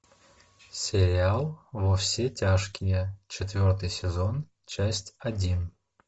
сериал во все тяжкие четвертый сезон часть один